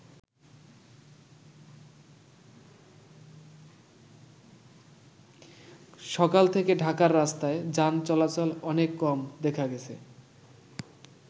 সকাল থেকে ঢাকার রাস্তায় যান চলাচল অনেক কম দেখা গেছে।